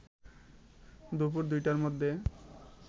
দুপুর ২ টার মধ্যে